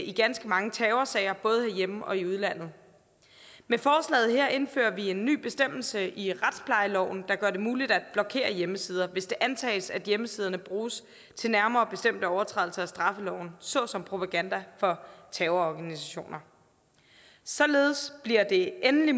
i ganske mange terrorsager både herhjemme og i udlandet med forslaget her indfører vi en ny bestemmelse i retsplejeloven der gør det muligt at blokere hjemmesider hvis det antages at hjemmesiderne bruges til nærmere bestemte overtrædelser af straffeloven såsom propaganda for terrororganisationer således bliver det endelig